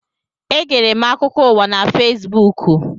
Egere m akụkọ ụwa na Fesbuku.